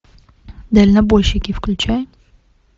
дальнобойщики включай